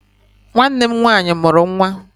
Nwanne m nwaanyị mụrụ nwa.